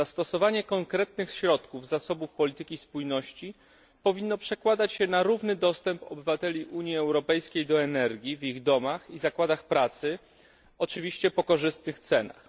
Zastosowanie konkretnych środków z zasobów polityki spójności powinno przekładać się na równy dostęp obywateli Unii Europejskiej do energii w ich domach i zakładach pracy, oczywiście po korzystnych cenach.